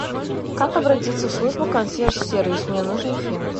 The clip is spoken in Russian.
как обратиться в службу консьерж сервис мне нужен фен